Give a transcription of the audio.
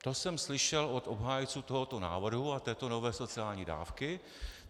To jsem slyšel od obhájců tohoto návrhu a této nové sociální dávky.